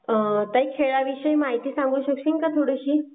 ताई खेळाविषयी माहिती सांगू शकशील काय थोडीशी?